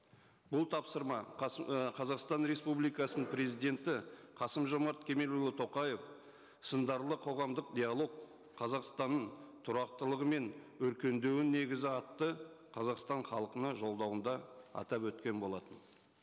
бұл тапсырма і қазақстан республикасының президенті қасым жомарт кемелұлы тоқаев сындарлы қоғамдық диалог қазақстанның тұрақтылығы мен өркендеуінің негізі атты қазақстан халқына жолдауында атап өткен болатын